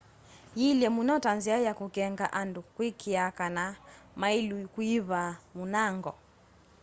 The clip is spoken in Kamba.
yĩĩlye mũno ta nzĩa ya kũkenga andũ kũĩkĩĩa kana maĩlũ kũĩva mũnango